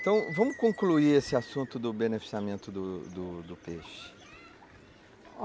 Então vamos concluir esse assunto do beneficiamento do do do peixe.